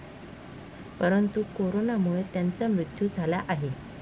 परंतु करोनामुळे त्यांचा मृत्यू झाला आहे.